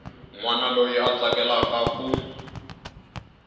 wana loyi a tsakelaka ku